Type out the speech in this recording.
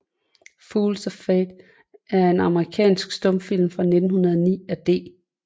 Fools of Fate er en amerikansk stumfilm fra 1909 af D